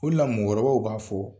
O de la mɔgɔkɔrɔbaw b'a fo